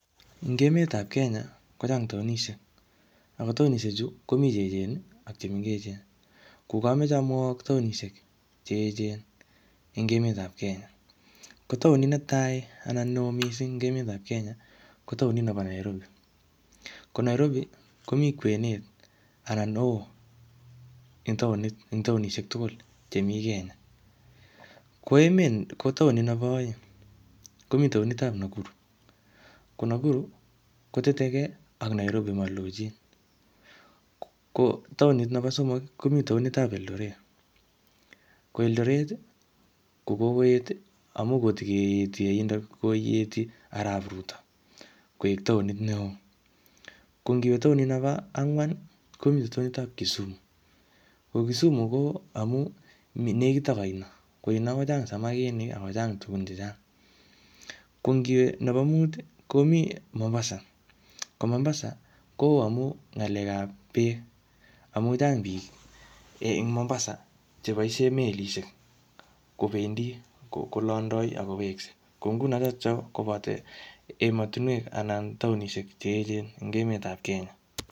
Eng emetab Kenya ko chang taonisiek, ako taonisiechu komi che echen ii ak chemengechen, ko kamache amwowok taonisiek che echen eng emetab Kenya, ko taonit netai anan ne oo mising eng emetab Kenya ko taonit nebo Nairobi, ko Nairobi komi kwenet anan oo eng taonisiek tugul chemi Kenya, ko taonit nebo aeng komi taonitab Nakuru, ko Nakuru kotetekei ak Nairobi malochin, ko taonit nebo somok ii, komi taonitab Eldoret, ko Eldoret ii ko kokoet ii amu kotokeeti aindok ii koieti Arap Ruto koek taonit ne oo, ko ngiwe taonit nebo angwan ii, komite taonitab Kisumu, ko Kisumu ko amu nekit ak aino, aino kochang samakinik ak kochang tugun che chang, ko ngiwe nebo muut ii, komi Mombasa ko Mombasa ko oo amu ngalekab beek, amu chang piik eng Mombasa che boisie melisiek kobendi kolondoi ak kowekse, ko nguno chotocho koboto emotinwek anan taonisiek che eechen eng emetab Kenya.